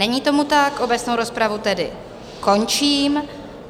Není tomu tak, obecnou rozpravu tedy končím.